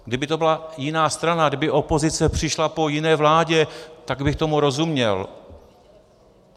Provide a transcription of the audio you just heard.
Kdyby to byla jiná strana, kdyby opozice přišla po jiné vládě, tak bych tomu rozuměl.